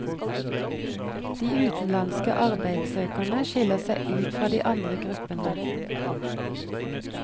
De utenlandske arbeidssøkerne skiller seg ut fra de andre gruppene.